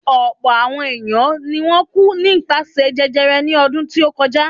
Ọ̀pọ̀̀ àọn ènìyàn ni wọ́n kú nípasẹ̀ jẹjẹrẹ ní ọdún tí ó kọjá.